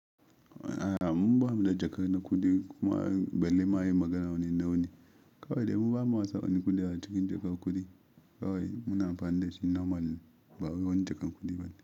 A'a mun bada jakar na kuɗi kuma balle ma yin magana wani nawane. Kawai dai mun bama sa won kuɗi a cikin jakar kuɗi. Kawai muna amfani da shi normal ba wani jakar kuɗi bane.